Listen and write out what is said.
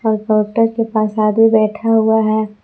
और काउंटर के पास आदमी बैठा हुआ है।